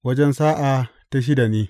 Wajen sa’a ta shida ne.